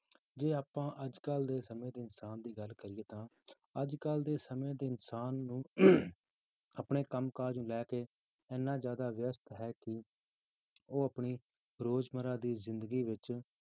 ਜੇ ਆਪਾਂ ਅੱਜ ਕੱਲ੍ਹ ਦੇ ਸਮੇਂ ਦੇ ਇਨਸਾਨ ਦੀ ਗੱਲ ਕਰੀਏ ਤਾਂ ਅੱਜ ਕੱਲ੍ਹ ਦੇ ਸਮੇਂ ਦੇ ਇਨਸਾਨ ਨੂੰ ਆਪਣੇ ਕੰਮ ਕਾਜ ਨੂੰ ਲੈ ਕੇ ਇੰਨਾ ਜ਼ਿਆਦਾ ਵਿਅਸਤ ਹੈ ਕਿ ਉਹ ਆਪਣੀ ਰੋਜ਼ ਮਰਰਾ ਦੀ ਜ਼ਿੰਦਗੀ ਵਿੱਚ